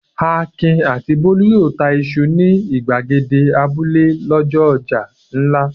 Akin àti Bólú yóò ta iṣu ní ìgbàgede abúlé lọ́jọ́ ọjà ńlá.